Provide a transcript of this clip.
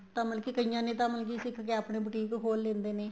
ਤਾਂ ਮਤਲਬ ਕੀ ਕਈਆਂ ਨੇ ਮਤਲਬ ਕੇ ਸਿਖਕੇ ਆਪਣੇ ਬੂਟੀਕ ਖੋਲ ਲੈਂਦੇ ਨੇ